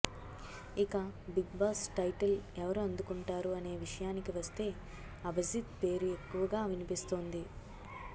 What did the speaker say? ఇక Big Boss title ఎవరు అందుకుంటారు అనే విషయానికి వస్తే అభిజీత్ పేరు ఎక్కువగా వినిపిస్తుంది